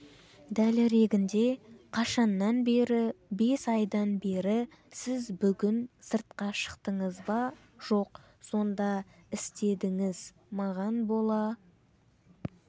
дәлірегінде қашаннан бері бес айдан бері сіз бүгін сыртқа шықтыңыз ба жоқ сонда істедіңіз маған бола